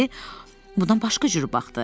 Amma indi bundan başqa cür baxdı.